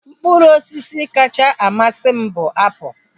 Mkpụrụ osisi kacha amasị m bụ apụl